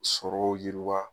Sɔrɔ yiriwa